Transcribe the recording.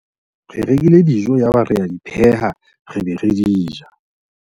re rekile dijo yaba re a di pheha re be re di ja